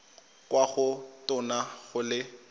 kwa go tona go le